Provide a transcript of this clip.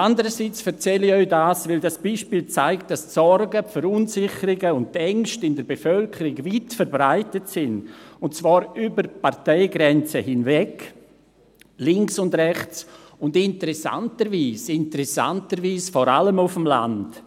Andererseits erzähle ich Ihnen dies, weil das Beispiel zeigt, dass die Sorgen, die Verunsicherung und die Ängste in der Bevölkerung weit verbreitet sind, und zwar über die Parteigrenzen hinweg, links und rechts, und interessanterweise, interessanterweise vor allem auf dem Land.